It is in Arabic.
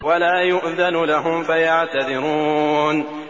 وَلَا يُؤْذَنُ لَهُمْ فَيَعْتَذِرُونَ